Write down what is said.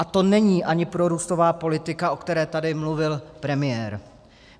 A to není ani prorůstová politika, o které tady mluvil premiér.